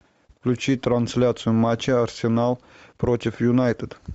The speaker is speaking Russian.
включи трансляцию матча арсенал против юнайтед